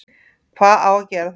Hvað á að gera þá?